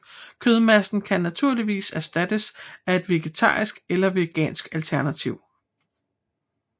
Kødmassen kan naturligvis erstattes af et vegetarisk eller vegansk alternativ